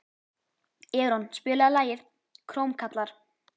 Eron, spilaðu lagið „Krómkallar“.